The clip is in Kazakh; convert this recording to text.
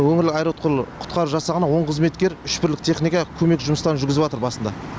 өңірлік аэроұтқыр құтқару жасағынан он қызметкер үш бірлік техника көмек жұмыстарын жүргізіватыр басында